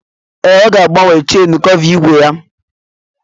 Ee, ọ ga agbanwe chen kọva igwe ya